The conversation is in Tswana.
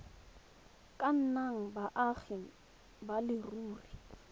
ka nnang baagi ba leruri